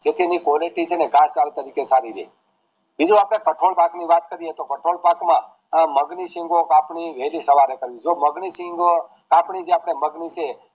જેથી એની Quality ચાર પાંચ તરીકે સારી રે બીજું અપડે કઠોળ પાક ની વાત કરાવી તો કઠોળ પાક માં મગ સિંગો આપણી વેલી સવાર માં કરાવી જો મગ ની સિંગો કાપણી જે મગ ની છે